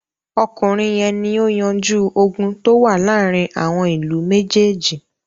Ọkùnrin yẹn ni ó yanjú ogun tó wà láàárin àwọn ìlú méjèèjì.